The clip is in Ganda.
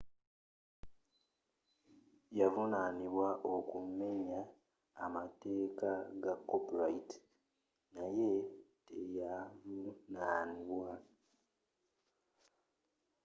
yavunaanibwa okumumenya amateeka ga copyrigh naye teyavunaanibwa